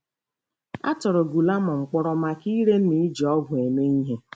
A tụrụ Guillermo mkpọrọ maka ire ma iji ọgwụ eme ihe.